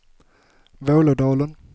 Vålådalen